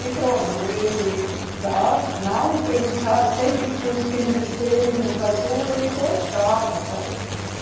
E pronto, ele está, não, ele está sempre tinha os filhos dele no casulo e gostava, sabe?